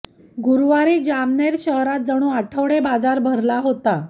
गुरूवारी जामनेर शहरात जणू आठवडे बाजारात भरला होता